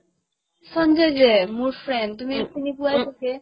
সঞ্জয় যে মোৰ friend তুমি চিনি পোৱাই ছাগে